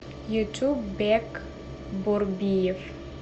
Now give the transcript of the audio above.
ютуб бек борбиев